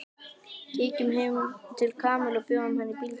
Kíkjum heim til Kamillu og bjóðum henni í bíltúr